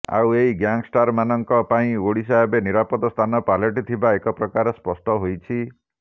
ଆଉ ଏହି ଗ୍ୟାଙ୍ଗଷ୍ଟରମାନଙ୍କ ପାଇଁ ଓଡିଶା ଏବେ ନିରାପଦ ସ୍ଥାନ ପାଲଟିଥିବା ଏକପ୍ରକାର ସ୍ପଷ୍ଟ ହୋଇଛି